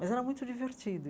Mas era muito divertido.